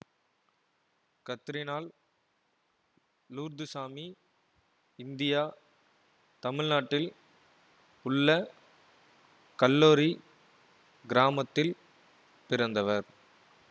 கத்ரினால் Lourdusamy India தமிழ்நாட்டில் உள்ள கல்லோரி கிராமத்தில் பிறந்தவர்